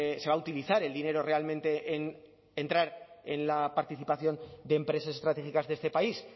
se va a utilizar el dinero realmente en entrar en la participación de empresas estratégicas de este país